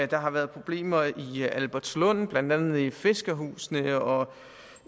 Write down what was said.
der har været problemer i albertslund blandt andet i fiskerhusene og